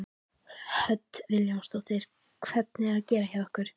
Hödd Vilhjálmsdóttir: Hvernig er að gera hjá ykkur?